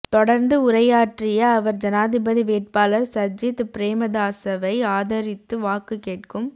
தொடர்ந்து உரையாற்றிய அவர் ஜனாதிபதி வேட்பாளர் சஜித் பிரேமதாசவை ஆதரித்து வாக்கு கேட்கும்